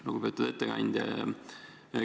Lugupeetud ettekandja!